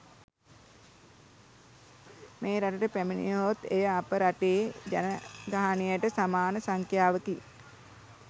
මෙරටට පැමිණියහොත් එය අප රටේ ජනගහණයට සමාන සංඛ්‍යාවකි